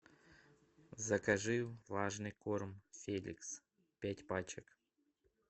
закажи влажный корм феликс пять пачек